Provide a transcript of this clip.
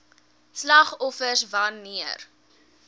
slagoffers wan neer